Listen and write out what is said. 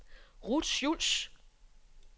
Ruth Schulz